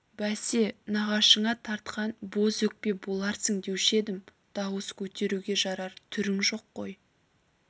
бәсе нағашыңа тартқан бөз өкпе боларсың деуші едім дауыс көтеруге жарар түрің жоқ қой